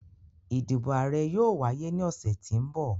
Idibo aarẹ yoo waye ni ọsẹ ti n bọ.